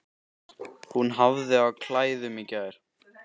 Hún hafði á klæðum í gær.